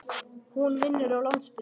Hún vinnur á Landspítalanum.